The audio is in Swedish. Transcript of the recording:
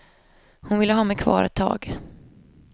Hon ville ha mig kvar ett tag.